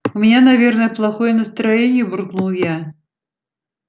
у меня наверное плохое настроение буркнул я